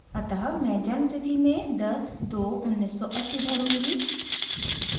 अतः मैं जन्म तिथि में 10/02/1980 भरूँगी